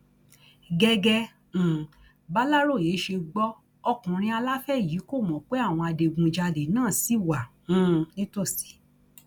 gẹgẹ um bàlàròyé ṣe gbọ ọkùnrin aláfẹ yìí kó mọ pé àwọn adigunjalè náà ṣì wà um nítòsí